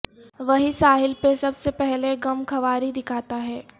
وہی ساحل پہ سب سے پہلے غمخواری دکھاتا ہے